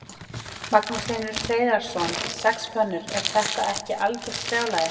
Magnús Hlynur Hreiðarsson: Sex pönnur, er þetta ekki algjört brjálæði?